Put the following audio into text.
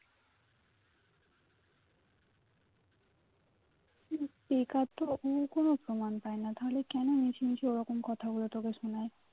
এই কাজ তো উনি কোনো প্রমান পায় না তাহলে কেন মিছিমিছি ওরকম কথাগুলো তোকে শোনাই